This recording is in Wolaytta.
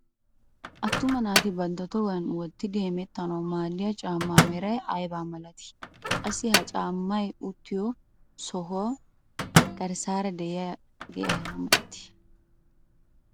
Attuma naati bantta tohuwaan wottidi hemettanawu maaddiyaa caammaa meray aybaa milatii? qassi ha caammay uttido sohuwaay garssaara de'iyaagee aybaa milatii?